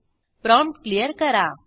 prompt clear करा